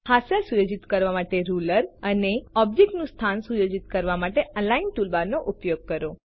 હાસ્યા સુયોજિત કરવા માટે રુલર અને ઓબ્જેક્ટ નું સ્થાન સુયોજિત કરવા માટે અલિગ્ન ટૂલબાર નો ઉપયોગ કરો